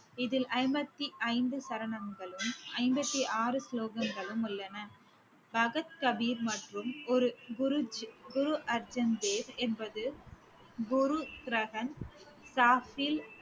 இதில் ஐம்பத்தி ஐந்து சரணங்களும் ஐம்பத்தி ஆறு ஸ்லோகங்களும் உள்ளன கபிர் மற்றும் குரு~ குரு~ குரு அர்ஜூன் தேவ் என்பது குரு